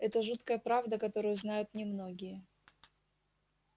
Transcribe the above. это жуткая правда которую знают немногие